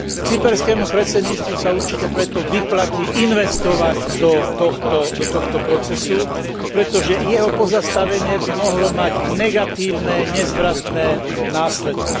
Cyperskému predsedníctvu sa určite preto vyplatí investovať do tohto procesu, pretože jeho pozastavenie by mohlo mať negatívne, nezvratné následky.